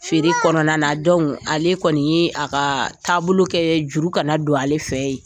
Feere kɔnɔna na ale kɔni ye a ka taabolo kɛ juru kana don ale fɛ yen